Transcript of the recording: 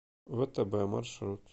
втб маршрут